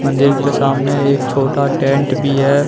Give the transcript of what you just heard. मंदिर के सामने एक छोटा टेंट भी है।